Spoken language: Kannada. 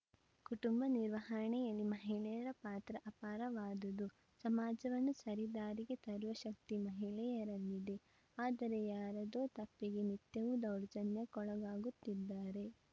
ಕುಟುಂಬ ನಿರ್ವಹಣೆಯಲ್ಲಿ ಮಹಿಳೆಯರ ಪಾತ್ರ ಅಪಾರವಾದದು ಸಮಾಜವನ್ನು ಸರಿ ದಾರಿಗೆ ತರುವ ಶಕ್ತಿ ಮಹಿಳೆಯರಲ್ಲಿದೆ ಆದರೆ ಯಾರದೋ ತಪ್ಪಿಗೆ ನಿತ್ಯವೂ ದೌರ್ಜನ್ಯಕ್ಕೊಳಗಾಗುತ್ತಿದ್ದಾರೆ